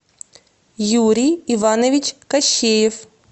юрий иванович кощеев